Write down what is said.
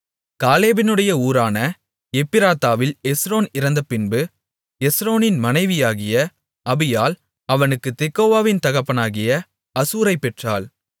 காலேபினுடைய ஊரான எப்ராத்தாவில் எஸ்ரோன் இறந்தபின்பு எஸ்ரோனின் மனைவியாகிய அபியாள் அவனுக்கு தெக்கோவாவின் தகப்பனாகிய அசூரைப் பெற்றாள்